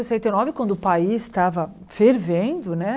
sessenta e nove, quando o país estava fervendo, né?